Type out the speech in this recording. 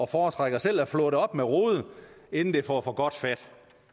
foretrækker selv at flå det op med rode inden det får for godt fat